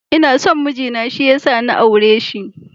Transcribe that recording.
Ina son miji na shi ya sa na aure shi.